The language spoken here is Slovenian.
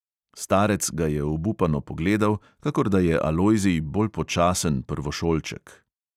Starec ga je obupano pogledal, kakor da je alojzij bolj počasen prvošolček.